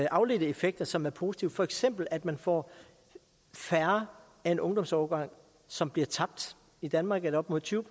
afledte effekter som er positive for eksempel at man får færre af en ungdomsårgang som bliver tabt i danmark er det op mod tyve